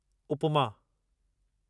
upma